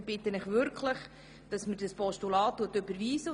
Ich bitte Sie wirklich, das Postulat zu überweisen.